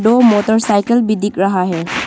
और मोटरसाइकिल भी दिख रहा है।